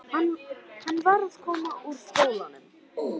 Hann var að koma úr skólanum.